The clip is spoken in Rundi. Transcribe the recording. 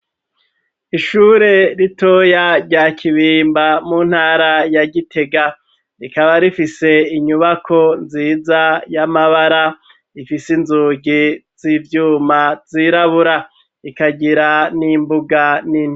Ishure ritoya rya kibimba mu ntara ya Gitega rikaba rifise inyubako nziza y'amabara ifise inzugi z'ivyuma zirabura, ikagira n'imbuga nini.